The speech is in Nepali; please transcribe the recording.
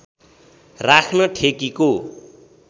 राख्न ठेकीको